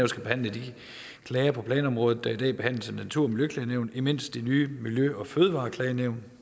skal behandle de klager på planområdet der i dag behandles af natur og miljøklagenævnet mens det nye miljø og fødevareklagenævn